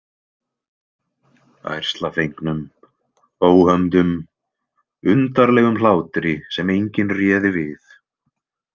Ærslafengnum, óhömdum, undarlegum hlátri sem enginn réði við.